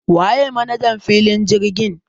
Waye manajan filin jirgin?